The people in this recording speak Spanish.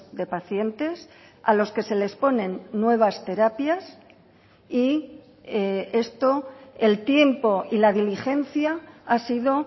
de pacientes a los que se les ponen nuevas terapias y esto el tiempo y la diligencia ha sido